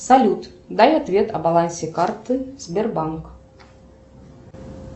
салют дай ответ о балансе карты сбербанк